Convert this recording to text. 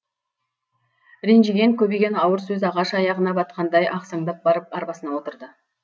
ренжіген көбеген ауыр сөз ағаш аяғына батқандай ақсаңдап барып арбасына отырды